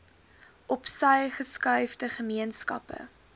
opsy geskuifde gemeenskappe